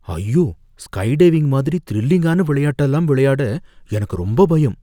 ஐயோ! ஸ்கைடைவிங் மாதிரி த்ரில்லிங்கான விளையாட்டெல்லாம் விளையாட எனக்கு ரொம்ப பயம்